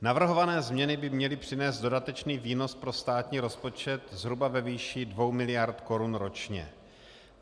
Navrhované změny by měly přinést dodatečný výnos pro státní rozpočet zhruba ve výši 2 miliard korun ročně.